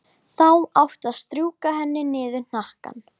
Þá áttu að strjúka henni niður hnakkann.